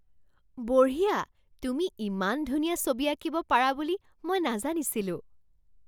বঢ়িয়া! তুমি ইমান ধুনীয়া ছবি আঁকিব পাৰা বুলি মই নাজানিছিলোঁ!